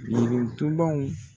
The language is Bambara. Girintubaw